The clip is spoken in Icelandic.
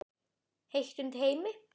Heitt undir Heimi?